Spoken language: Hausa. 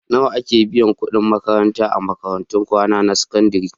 Nawa ake biyan kuɗin makarantar a makarantun kwana na sakandare?